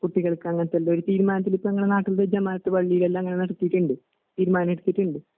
കുട്ടികൾക്കങ്ങനതെന്തൊയൊരു തീരുമാനത്തിലിപ്പയങ്ങളെ ജമാഅത്ത്പള്ളീലെല്ലാം അങ്ങനെനടത്തീട്ടുണ്ട്. തീരുമാനെടുത്തിട്ടുണ്ട്.